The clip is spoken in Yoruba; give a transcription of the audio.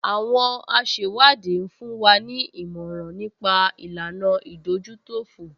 Àwọn asẹ̀wádìí ń fún wa ní ìmọ̀ràn nípa ìlànà ìdójútòfò